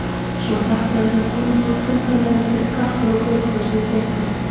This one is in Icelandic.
Svo þakkaði hann konunum í kvenfélaginu fyrir kaffið og kökurnar sem við fengum.